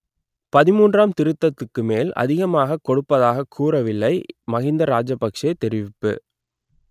பதிமூன்றாம் திருத்தத்துக்கு மேல் அதிகமாகக் கொடுப்பதாக கூறவில்லை மகிந்த ராஜபக்சே தெரிவிப்பு